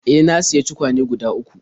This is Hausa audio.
E, na sayi tukwane guda uku..